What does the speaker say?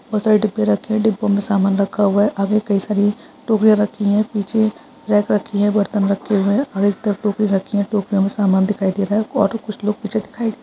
बहुत सारे डिब्बे रखे हैं। डिब्बों में सामान रखा हुआ है। आगे कई सारी टोकरियां रखी है। पीछे रैक रखी है। बर्तन रखे हुए है और एक तरफ़ टोकरियां रखी है। टोकरियों में समान दिखाई दे रहा है और कुछ लोग पीछे दिखाई --